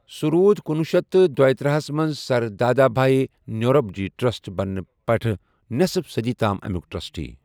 سُہ روٗد کنوُہ شیتھ تہٕ دۄیِتٔرہ ہس منز sir Dadabhai Naoroji trust بننہٕ پیٹھہٕ نیصف صدی تام امِیك ٹرسٹی ۔